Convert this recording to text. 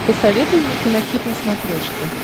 посоветуй мне кинохит на смотрешке